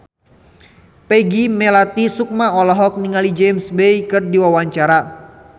Peggy Melati Sukma olohok ningali James Bay keur diwawancara